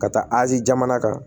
Ka taa azi jamana kan